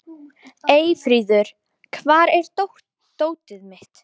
Eyfríður, hvar er dótið mitt?